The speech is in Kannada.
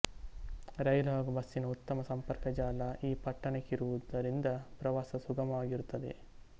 ರೈಲು ಹಾಗು ಬಸ್ಸಿನ ಉತ್ತಮ ಸಂಪರ್ಕ ಜಾಲ ಈ ಪಟ್ಟಣಕ್ಕಿರುವುದರಿಂದ ಪ್ರವಾಸ ಸುಗಮವಾಗಿರುತ್ತದೆ